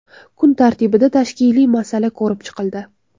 Kun tartibida tashkiliy masala ko‘rib chiqildi.